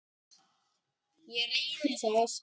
Ég reyni það.